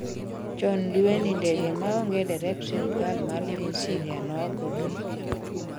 chon dueni ndege maonge derep sirkal mar piny Syria nogoo piny